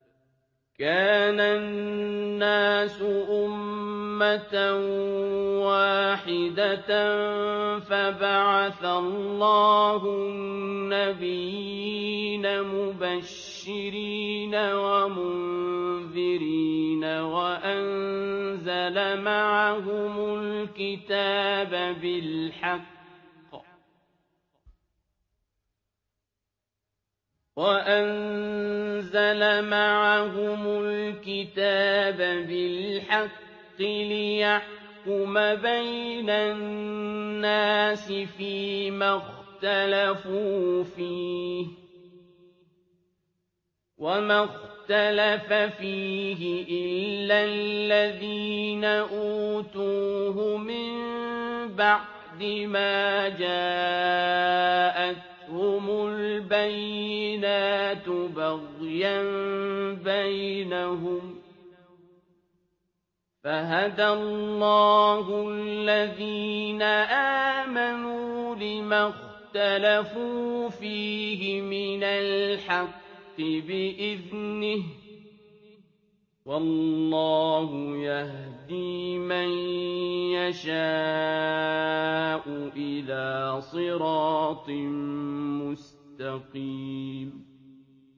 كَانَ النَّاسُ أُمَّةً وَاحِدَةً فَبَعَثَ اللَّهُ النَّبِيِّينَ مُبَشِّرِينَ وَمُنذِرِينَ وَأَنزَلَ مَعَهُمُ الْكِتَابَ بِالْحَقِّ لِيَحْكُمَ بَيْنَ النَّاسِ فِيمَا اخْتَلَفُوا فِيهِ ۚ وَمَا اخْتَلَفَ فِيهِ إِلَّا الَّذِينَ أُوتُوهُ مِن بَعْدِ مَا جَاءَتْهُمُ الْبَيِّنَاتُ بَغْيًا بَيْنَهُمْ ۖ فَهَدَى اللَّهُ الَّذِينَ آمَنُوا لِمَا اخْتَلَفُوا فِيهِ مِنَ الْحَقِّ بِإِذْنِهِ ۗ وَاللَّهُ يَهْدِي مَن يَشَاءُ إِلَىٰ صِرَاطٍ مُّسْتَقِيمٍ